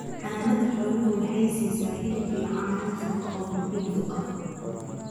Xanaanada xooluhu waxay siisaa hilib iyo caano nafaqo oo muhiim u ah.